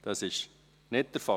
– Dies ist nicht der Fall.